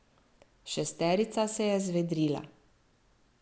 Šesterica se je zvedrila.